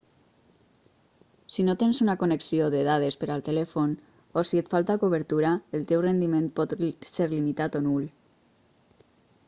si no tens una connexió de dades per al telèfon o si et falta cobertura el teu rendiment pot ser limitat o nul